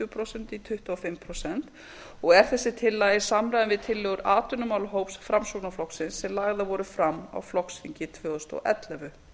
prósent í tuttugu og fimm prósent og er þessi tillaga í samræmi við tillögur atvinnumálahóps framsóknarflokksins sem lagðar voru fram á flokksþinginu tvö þúsund og ellefu